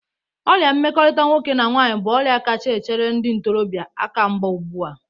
Ọrịa mmekọrịta nwoke na nwaanyị bụ ọrịa kacha echere ndị ntorọbịa akamgba ụgbụ a.